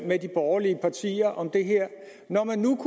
med de borgerlige partier om det her når man nu